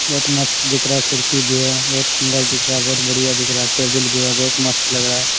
बहुत मस्त दिख रहा है खिड़की भी है बहुत सुन्दर दिख रहा है बहुत बढ़िया दिख रहा है टेबुल भी है बहुत मस्त लग रहा है ।